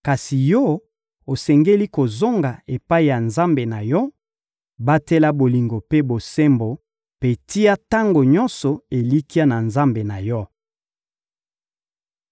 Kasi yo, osengeli kozonga epai ya Nzambe na yo; batela bolingo mpe bosembo mpe tia tango nyonso elikya na Nzambe na yo.